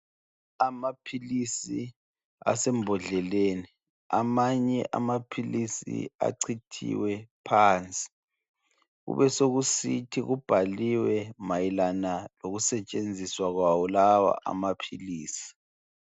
Amapills asembodleleni amanye amapills achithiwe phansi kube sokuthi kubhaliwe mayelana lokusetshenziswa kwawo wonalawa amapills